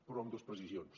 però amb dos precisions